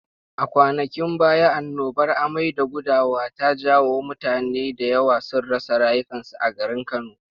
A kwanakin baya annobar amai da gudawa ta jawo mutane da yawa sun rasa rayukansu a garin Kano.